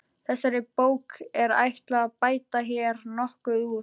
Þessari bók er ætlað að bæta hér nokkuð úr.